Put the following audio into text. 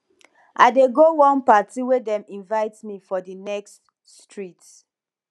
i dey go one party wey dem invite me for di next street